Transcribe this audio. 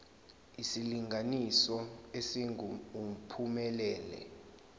isilinganiso esingu uphumelele